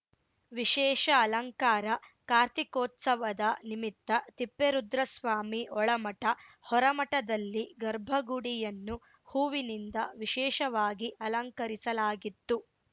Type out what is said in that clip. ವಿಶೇಷ ಅಲಂಕಾರ ಕಾರ್ತೀಕೋತ್ಸವದ ನಿಮಿತ್ತ ತಿಪ್ಪೇರುದ್ರಸ್ವಾಮಿ ಒಳಮಠ ಹೊರಮಠದಲ್ಲಿ ಗರ್ಭಗುಡಿಯನ್ನು ಹೂವಿನಿಂದ ವಿಶೇಷವಾಗಿ ಅಲಂಕರಿಸಲಾಗಿತ್ತು